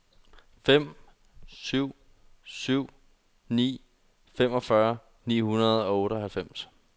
fem syv syv ni femogfyrre ni hundrede og otteoghalvfems